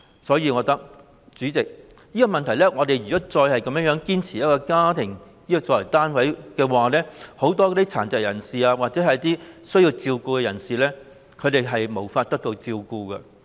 所以，代理主席，我覺得如果我們再堅持以家庭作為單位，很多殘疾或需要照顧的人便無法得到照顧。